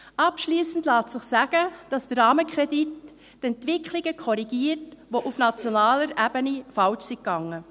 Abschliessend lässt sich sagen, dass der Rahmenkredit die Entwicklungen korrigiert, welche auf nationaler Ebene falsch liefen.